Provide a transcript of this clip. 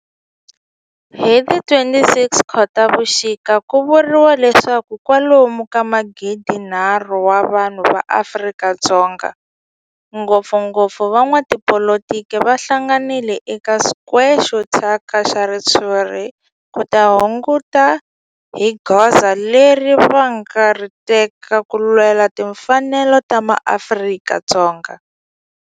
Hi ti 26 Khotavuxika ku vuriwa leswaku kwalomu ka magidinharhu wa vanhu va Afrika-Dzonga, ngopfngopfu van'watipolitiki va hlanganile eka square xo thyaka xa ritshuri ku ta kunguhata hi goza leri va nga ta ri teka ku lwela timfanelo ta maAfrika-Dzonga.